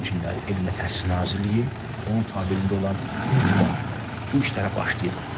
Bu günləri Elm və Təhsil Nazirliyi, onun tabeçiliyində olan, mütləq bu işlərə başlayıb.